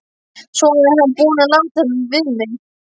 Svona er hann búinn að láta við mig.